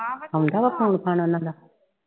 ਵਾ phone phone ਉਨ੍ਹਾਂ ਦਾ